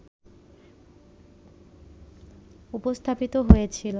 উপস্থাপিত হয়েছে